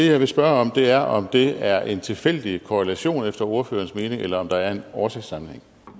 jeg vil spørge om er om det er en tilfældig korrelation efter ordførerens mening eller om der er en årsagssammenhæng